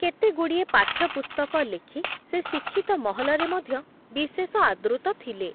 କେତେଗୁଡ଼ିଏ ପାଠ୍ୟପୁସ୍ତକ ଲେଖି ସେ ଶିକ୍ଷିତ ମହଲରେ ମଧ୍ୟ ବିଶେଷ ଆଦୃତ ଥିଲେ ।